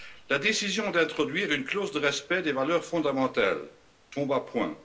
La décision d'introduire une clause de respect des valeurs fondamentales tombe à point.